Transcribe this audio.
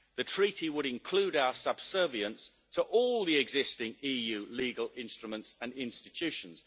The treaty would include our subservience to all the existing EU legal instruments and institutions.